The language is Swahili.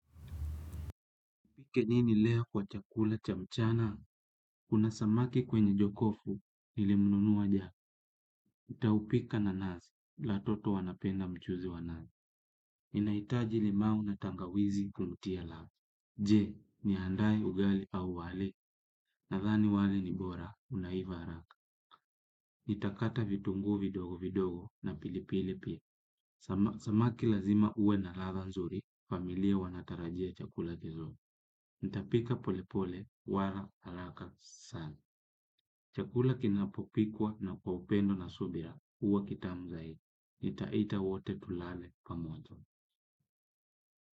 Nipike nini leo kwa chakula cha mchana? Kuna samaki kwenye jokofu, nilimnunua jana. Nitaupika na nazi, watoto wanapenda mchuzi wa nazi. Inahitaji limau na tangawizi kumtia ladha. Je, niandae ugali au wali? Nadhani wali ni bora, unaiva haraka. Nitakata vitunguu vidogo vidogo na pilipili pia. Samaki lazima awe na ladha nzuri, familia wanatarajia chakula kizuri. Nitapika polepole, wala si haraka, sawa. Chakula kinapopikwa kwa upendo na subira huwa kitamu zaidi. Nitaita wote tulale pamoja.